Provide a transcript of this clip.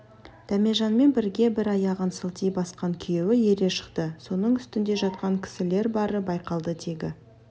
дәмежанмен бірге бір аяғын сылти басқан күйеуі ере шықты соның үстінде жатқан кісілер бары байқалды тегі